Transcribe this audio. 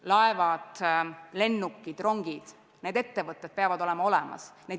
Laevad, lennukid, rongid – nendega seotud ettevõtted peavad olema olemas.